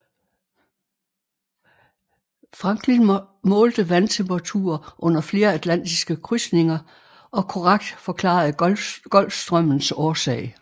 Franklin målte vandtemperaturer under flere atlantiske krydsninger og korrekt forklarede Golfstrømmens årsag